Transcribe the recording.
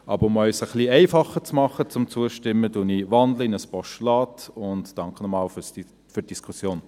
Aber um es Ihnen etwas einfacher zu machen, zuzustimmen, wandle ich es in ein Postulat und danke nochmals für die Diskussion.